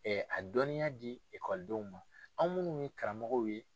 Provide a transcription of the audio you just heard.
a dɔnniya ma anw minnu ye karamɔgɔw ye.